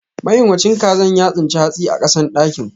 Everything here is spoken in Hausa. Mayunwacin kazan ya tsince hatsi a kasan dakin.